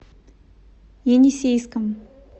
енисейском